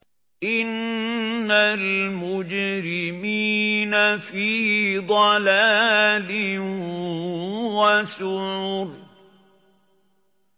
إِنَّ الْمُجْرِمِينَ فِي ضَلَالٍ وَسُعُرٍ